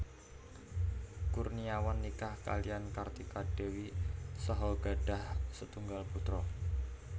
Kurniawan nikah kaliyan Kartika Dewi saha gadhah setunggal putra